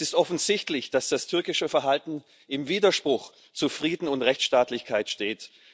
Es ist offensichtlich, dass das türkische Verhalten im Widerspruch zu Frieden und Rechtsstaatlichkeit steht.